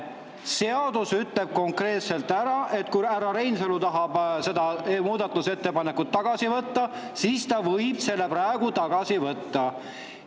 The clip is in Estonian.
Seadus ütleb konkreetselt ära, et kui härra Reinsalu tahab seda muudatusettepanekut tagasi võtta, siis ta võib selle praegu tagasi võtta.